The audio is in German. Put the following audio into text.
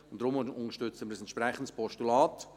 Deshalb unterstützen wir ein entsprechendes Postulat.